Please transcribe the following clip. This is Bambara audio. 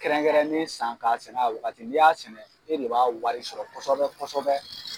Kɛrɛnkɛrɛnnen san k'a sɛnɛ a waati la n' y'a sɛnɛ e de b'a wari sɔrɔ kosɛbɛ kosɛbɛ.